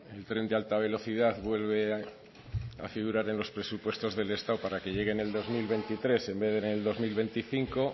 el tren de alta velocidad vuelve a figuraren los presupuestos del estado para que llegue en el dos mil veintitrés en vez de en el dos mil veinticinco